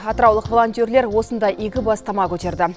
атыраулық волонтерлер осындай игі бастама көтерді